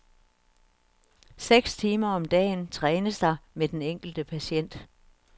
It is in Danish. Seks timer om dagen trænes der med den enkelte patient.